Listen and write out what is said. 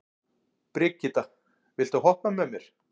Brigitta, viltu hoppa með mér?